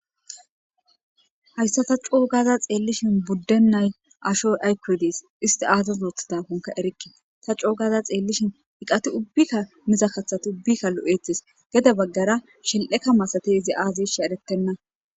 Hayssa ta coo gaaza xeellishin buddennay asho aykuwodes isti aazas oothida konka erikke ta coo gaaza xeellishin iqati ubbikka miza kathati ubbikka lo'etes geda baggara shel'eka masate izi aaze she eretenna.